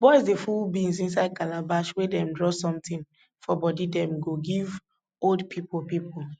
boys dey full beans inside calabash wey dem draw something for body dem go give old pipo pipo